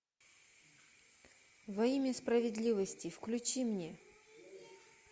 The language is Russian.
во имя справедливости включи мне